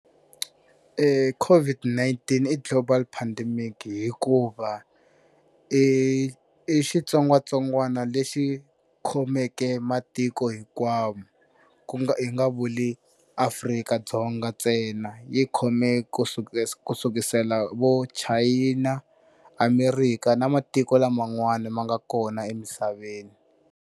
COVID-19 i global pandemic hikuva i i xitsongwatsongwana lexi khomeke matiko hinkwawo ku nga hi nga vuli Afrika-Dzonga ntsena yi khome kusuka ku sukisela vo China, America na matiko laman'wana ma nga kona emisaveni.